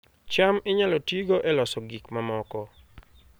cham inyalo tigo e loso gik mamoko